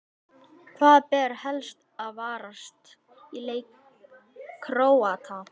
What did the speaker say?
Hvað ber helst að varast í leik Króata?